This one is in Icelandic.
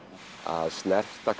að snerta